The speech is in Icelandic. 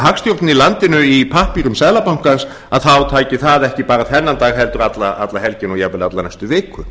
í landinu í pappírum seðlabankans þá tæki það ekki bara þennan dag heldur alla helgina og jafnvel alla næstu viku